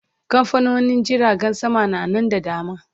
Kamfanonin jiragen sama na Nan da dama